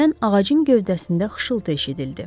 Birdən ağacın gövdəsində xışıltı eşidildi.